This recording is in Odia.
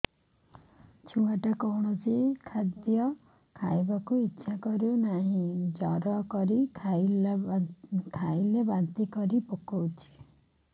ଛୁଆ ଟା କୌଣସି ଖଦୀୟ ଖାଇବାକୁ ଈଛା କରୁନାହିଁ ଜୋର କରି ଖାଇଲା ବାନ୍ତି କରି ପକଉଛି